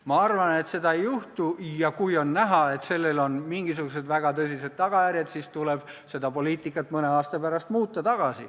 Ma arvan, et seda ei juhtu, ja kui on näha, et sellel on mingisugused väga tõsised tagajärjed, siis tuleb seda poliitikat mõne aasta pärast muuta.